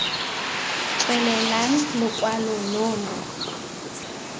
tswelelang stke lokwalo lo lo